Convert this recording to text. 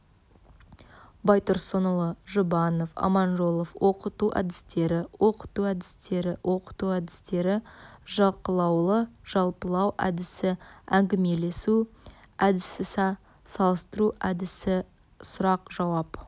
байтұрсынұлы жұбанов аманжолов оқыту әдістері оқыту әдістері оқыту әдістері жалқылаулы-жалпылау әдісі әңгімелесу әдісіса салыстыру әдісі сұрақ-жауап